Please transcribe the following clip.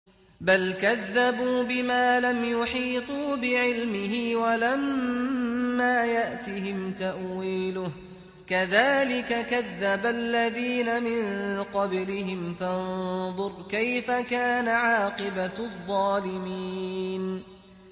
بَلْ كَذَّبُوا بِمَا لَمْ يُحِيطُوا بِعِلْمِهِ وَلَمَّا يَأْتِهِمْ تَأْوِيلُهُ ۚ كَذَٰلِكَ كَذَّبَ الَّذِينَ مِن قَبْلِهِمْ ۖ فَانظُرْ كَيْفَ كَانَ عَاقِبَةُ الظَّالِمِينَ